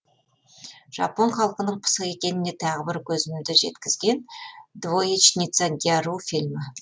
жапон халқының пысық екеніне тағы бір көзімді жеткізген двоечница гяру фильмі